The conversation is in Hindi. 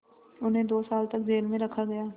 उन्हें दो साल तक जेल में रखा गया